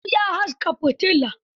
Habu ya haska fitila.